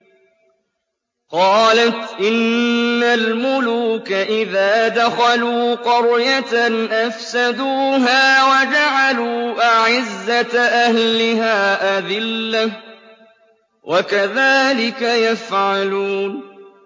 قَالَتْ إِنَّ الْمُلُوكَ إِذَا دَخَلُوا قَرْيَةً أَفْسَدُوهَا وَجَعَلُوا أَعِزَّةَ أَهْلِهَا أَذِلَّةً ۖ وَكَذَٰلِكَ يَفْعَلُونَ